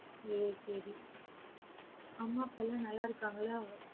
ஏ சரி அம்மா அப்பாலாம் நல்ல இருக்காங்களா?